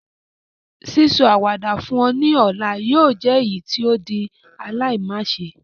Sísọ àwàdà fún ọ ni ọ̀la yóò jẹ èyítí o di aláimáse